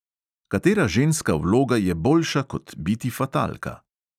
Katera ženska vloga je boljša kot biti fatalka?